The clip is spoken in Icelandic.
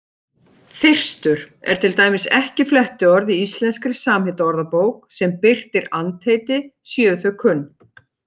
Þyrstur er til dæmis ekki flettiorð í Íslenskri samheitaorðabók sem birtir andheiti séu þau kunn.